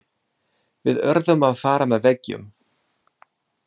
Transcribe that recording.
Við urðum að fara með veggjum.